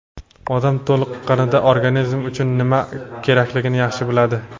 Odam toliqqanida organizmi uchun nima kerakligini yaxshi biladi.